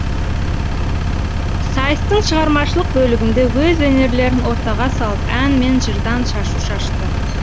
сайыстың шығармашылық бөлігінде өз өнерлерін ортаға салып ән мен жырдан шашу шашты